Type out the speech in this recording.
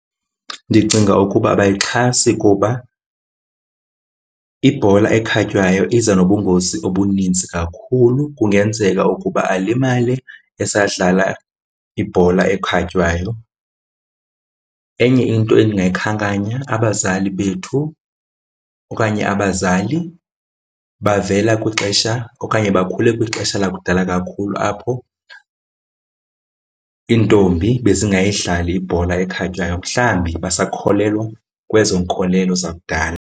Ndicinga ukuba abayixhasi kuba ibhola ekhatywayo iza nobungozi obuninzi kakhulu, kungenzeka ukuba alimale esadlala ibhola ekhatywayo. Enye into endingayikhankanya abazali bethu okanye abazali bavela kwixesha okanye bakhule kwixesha lakudala kakhulu apho iintombi bezingayidlali ibhola ekhatywayo, mhlambi basakholelwa kwezo nkolelo zakudala.